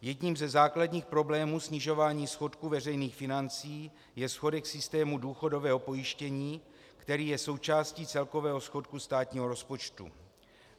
Jedním ze základních problémů snižování schodku veřejných financí je schodek systému důchodového pojištění, který je součástí celkového schodku státního rozpočtu.